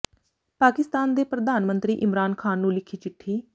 ਪਾਕਿਸਤਾਨ ਦੇ ਪ੍ਰਧਾਨ ਮੰਤਰੀ ਇਮਰਾਨ ਖਾਨ ਨੂੰ ਲਿਖੀ ਚਿੱਠੀ